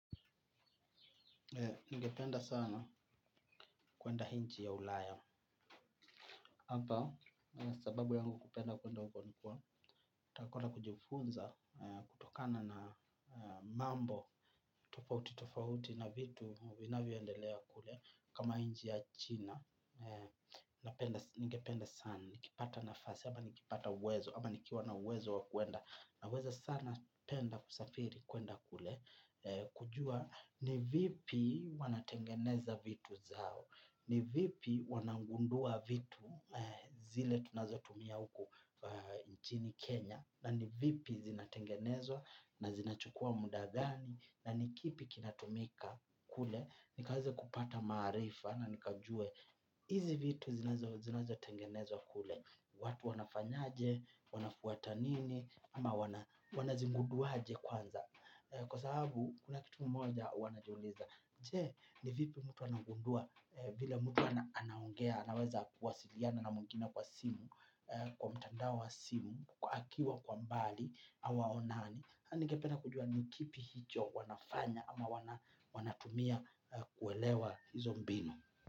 Ningependa sana kuenda nchi ya ulaya. Hapa, sababu yangu kupenda kuenda huko nikuwa, takona kujifunza kutokana na mambo, tofauti tofauti na vitu vinavyo endelea kule kama hinji ya china. Ningependa sana, nikipata nafasi ama nikipata uwezo, ama nikiwa na uwezo wa kuenda. Na weza sana penda kusafiri kuenda kule, kujua ni vipi wanatengeneza vitu zao. Ni vipi wanagundua vitu zile tunazotumia huku nchini Kenya. Na ni vipi zinatengenezwa na zinachukua mudagani. Na nikipi kinatumika kule. Nikaweze kupata marifa na nikajue. Izi vitu zinazotengenezwa kule. Watu wanafanyaje, wanafuata nini ama wanazigunduaje kwanza kwa sababu kuna kitu mmoja huanajuliza. Je, ni vipi mtu anagundua, vila mtu anaongea, anaweza kuwasiliana na mwingine kwa simu, kwa mtandao wa simu, kwa akiwa kwa mbali, au waonani anige penda kujua ni kipi hicho wanafanya ama wanatumia kuelewa hizo mbinu.